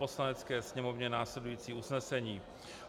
Poslanecké sněmovně následující usnesení: